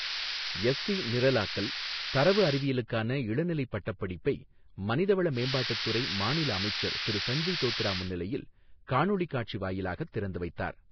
SC நிரலாக்கல், தரவு அறிவியலுக்கான இளநிலைப் பட்டப்படிப்பை மனிதவள மேம்பாட்டுத் துறை மாநில அமைச்சர் திரு சஞ்சய் தோத்ரே முன்னிலையில் காணொளிக் காட்சி வாயிலாக திறந்து வைத்தார்.